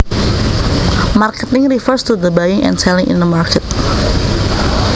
Marketing refers to the buying and selling in a market